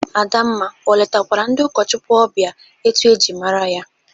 Adamma o letakwara ndị ụkọchụkwụ ọbịa etu e ji mara ya?